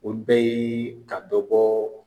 Olu bɛ ye ka dɔ bɔ